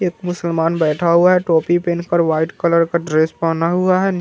एक मुसलमान बैठा हुआ है टोपी पहन कर व्हाइट कलर का ड्रेस पहना हुआ है नि --